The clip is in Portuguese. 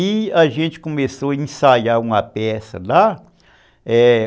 E a gente começou a ensaiar uma peça lá. É,